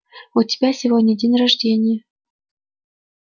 у тебя сегодня день рождения